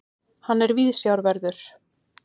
Hann er viðsjárverður.